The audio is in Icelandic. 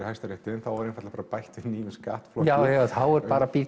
Hæstarétti þá er einfaldlega bætt við nýjum skattflokki já þá er bara